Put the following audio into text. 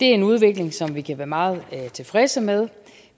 en udvikling som vi kan være meget tilfredse med